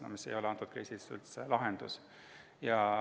See aga ei ole selles kriisis üldse lahendus.